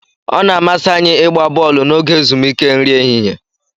Ọ na-amasị anyị ịgba bọọlụ n'oge ezumike nri ehihie.